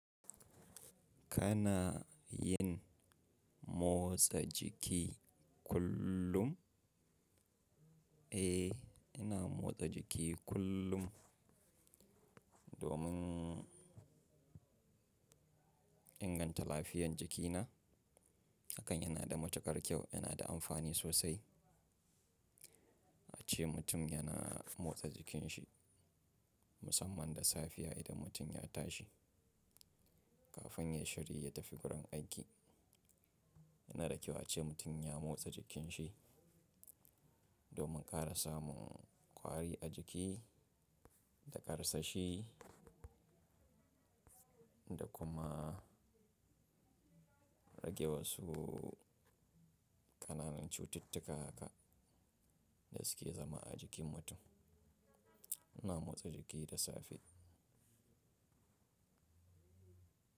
Kana yin motsa jiki kullum? Eh, ina motsa jiki kullum domin inganta lafiyan jikina. Hakan yana da matuƙar kyau, yana da amfani sosai a ce mutum yana motsa jikin shi musamman da safiya idan mutum ya tashi kafin ya shiri ya tafi wurin aiki. Yana da kyau a ce mutum ya motsa jikin shi domin ƙara samun kwari a jiki da ƙarsashi da kuma rage wasu ƙananan cututtuka haka da suke zama a jikin mutum. Ina motsa jiki da safe.